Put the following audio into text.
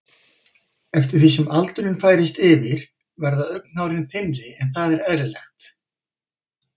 Eftir því sem aldurinn færist yfir verða augnhárin þynnri en það er eðlilegt.